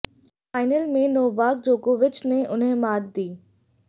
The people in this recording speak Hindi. फ़ाइनल में नोवाक जोकोविच ने उन्हें मात दी